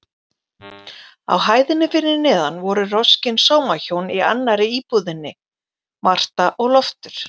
Á hæðinni fyrir neðan voru roskin sómahjón í annarri íbúðinni, Marta og Loftur.